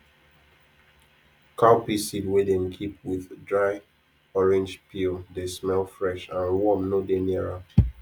cowpea seed wey dem keep with dry orange peel dey smell fresh and worm no dey near am